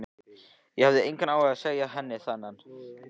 Ég hafði engan áhuga á að segja henni þennan.